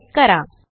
type करा